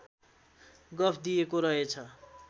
गफ दिएको रहेछ